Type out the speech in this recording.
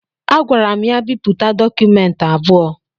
Agwara m ya bipụta dọkụmentị abụọ